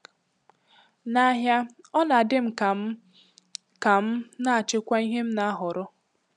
N’ahịa, ọ na-dị m ka m m ka m na-achịkwa ihe m na-ahọrọ.